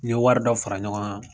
N ye wari dɔ fara ɲɔgɔn kan